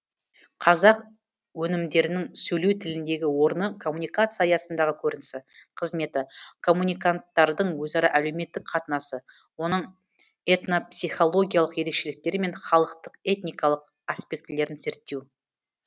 қазақ өнімдерінің сөйлеу тіліндегі орны коммуникация аясындағы көрінісі қызметі коммуниканттардың өзара әлеуметтік қатынасы оның этнопсихологиялық ерекшеліктері мен халықтық этникалық аспектілерін зерттеу